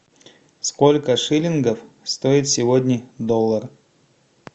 сколько шиллингов стоит сегодня доллар